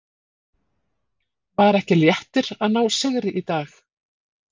Var ekki léttir að ná sigri í dag?